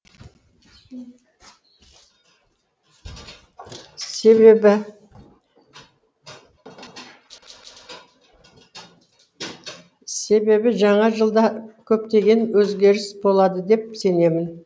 себебі жаңа жылда көптеген өзгеріс болады деп сенемін